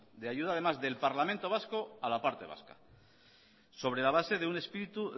de ayuda del parlamento vasco a la parte vasca sobre la base